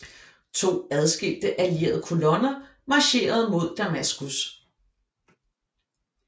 To adskilte allierede kolonner marcherede mod Damaskus